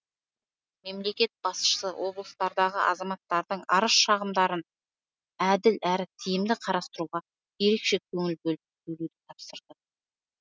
мемлекет басшысы облыстардағы азаматтардың арыз шағымдарын әділ әрі тиімді қарастыруға ерекше көңіл бөлуді тапсырды